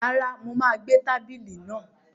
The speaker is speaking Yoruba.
Rárá, mo má gbé tábìlì náà